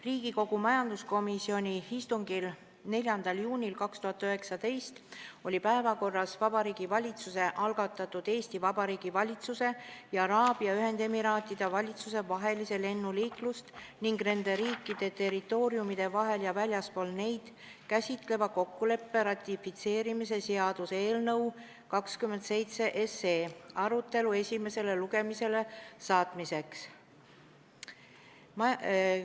Riigikogu majanduskomisjoni istungil 4. juunil 2019 oli päevakorras Vabariigi Valitsuse algatatud Eesti Vabariigi valitsuse ja Araabia Ühendemiraatide valitsuse vahelise lennuliiklust nende riikide territooriumide vahel ja väljaspool neid käsitleva kokkuleppe ratifitseerimise seaduse eelnõu arutelu esimesele lugemisele saatmiseks.